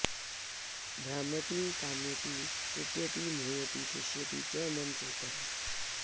भ्राम्यति ताम्यति त्रुट्यति मुह्यति शुष्यति च मम चेतः